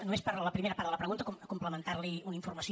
només per la primera part de la pregunta complementar li una informació